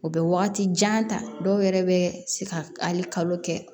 O bɛ wagati jan ta dɔw yɛrɛ bɛ se ka hali kalo kɛ